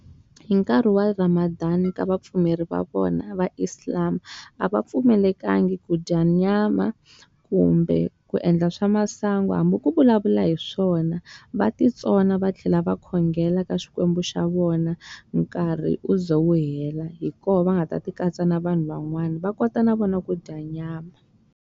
Hi nkarhi wa Ramadan ka vapfumeri va vona va Islam, a va pfumelekangi ku dya nyama, kumbe ku endla swa masangu hambi ku vulavula hi swona. Va ti tsona va tlhela va khongela ka xikwembu xa vona nkarhi u za wu hela. Hi kona va nga ta ti katsa na vanhu van'wana va kota na vona ku dya nyama.